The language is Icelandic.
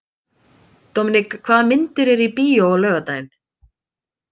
Dominik, hvaða myndir eru í bíó á laugardaginn?